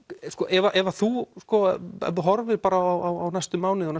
ef þú horfir á næstu mánuði og